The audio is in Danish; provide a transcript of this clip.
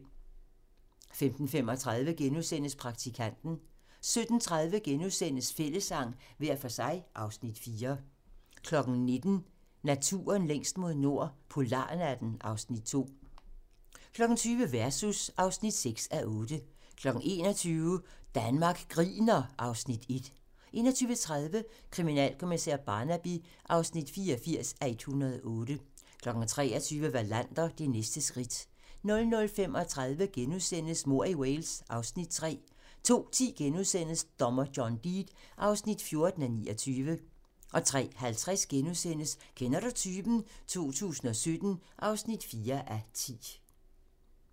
15:35: Praktikanten * 17:30: Fællessang - hver for sig (Afs. 4)* 19:00: Naturen længst mod nord - polarnatten (Afs. 2) 20:00: Versus (6:8) 21:00: Danmark griner (Afs. 1) 21:30: Kriminalkommissær Barnaby (84:108) 23:00: Wallander: Det næste skridt 00:35: Mord i Wales (Afs. 3)* 02:10: Dommer John Deed (14:29)* 03:50: Kender du typen? 2017 (4:10)*